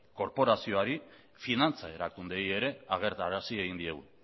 korporazioari eta finantza erakundeei ere agertarazi egin diegu